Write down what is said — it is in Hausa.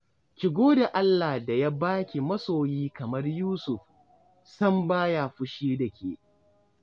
Ki gode Allah da ya ba ki masoyi kamar Yusuf, sam ba ya fushi da ke